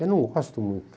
Eu não gosto muito.